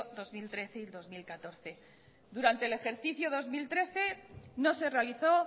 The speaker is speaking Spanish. dos mil trece y dos mil catorce durante el ejercicio dos mil trece no se realizó